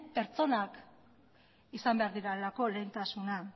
pertsonak izan behar direlako lehentasuna